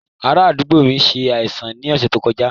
Ará àdúgbò mi ṣe àìsàn ní ọ̀sẹ̀ tó kọjá